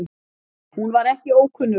Hún var ekki ókunnug